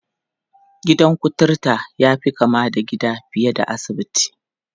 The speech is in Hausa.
Gidan kuturta ya fi kama da gida fiye da asibiti.